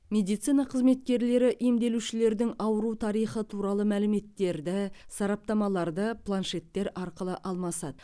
медицина қызметкерлері емделушілердің ауру тарихы туралы мәліметтерді сараптамаларды планшеттер арқылы алмасады